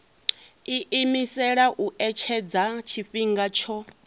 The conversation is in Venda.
iimisela u etshedza tshifhinga tsho